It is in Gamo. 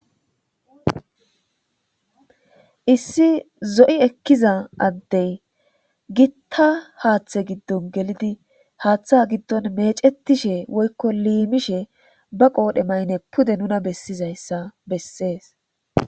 issi zo7i ekkiza addey gitta haaththe giddon gelidi haaththa giddon mecetishe woykko liimishe ba qoodhe maynne pude nuna bessizayssa bessees